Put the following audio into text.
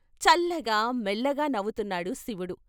చల్లగా మెల్లగా నవ్వుతున్నాడు శివుడు.